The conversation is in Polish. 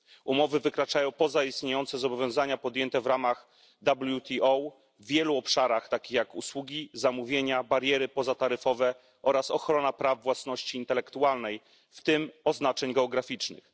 Umowy wykraczają poza istniejące zobowiązania podjęte w ramach WTO w wielu obszarach, takich jak usługi, zamówienia, bariery pozataryfowe oraz ochrona praw własności intelektualnej, w tym oznaczeń geograficznych.